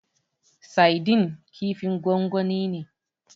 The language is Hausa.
Saidin kifin gwangwani ne.